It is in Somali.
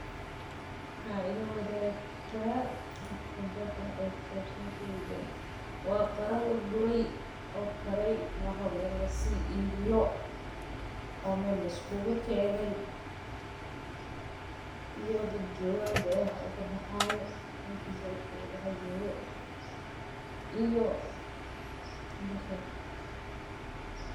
Ma ila waadigi kartaa waxa khibrad ah oo ku sabsan sheygan waa sheey aad muhiim u ah oo lagu soo bandige.